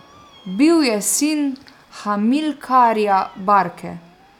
Bil je sin Hamilkarja Barke.